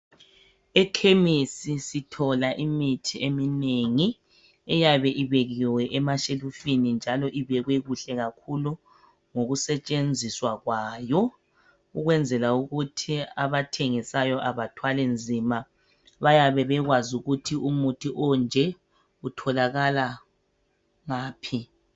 Ekhemisi sithola imithi eminengi eyabe ibekiwe emashelufini njalo ibekwe kuhle kakhulu ngokusetshenziswa kwayo ukwenzela ukuthi abathengisayo abathwali nzima bayabe bekwazi ukuthi umuthi onje utholakala ngaphi.